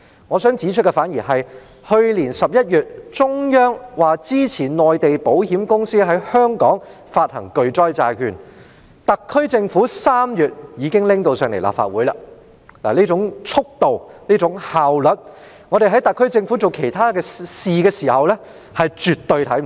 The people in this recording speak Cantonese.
我想指出的是，去年11月，中央表示支持內地保險公司在香港發行巨災債券，特區政府在3月已將這項《條例草案》提交立法會，這種速度和效率，在特區政府處理其他事宜時，我們絕對看不到。